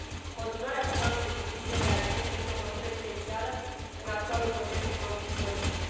Continuarea programului de distribuire de alimente este o măsură esențială în actualul context economic și politic.